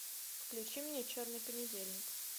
включи мне черный понедельник